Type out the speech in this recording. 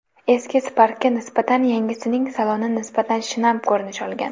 Eski Spark’ga nisbatan yangisining saloni nisbatan shinam ko‘rinish olgan.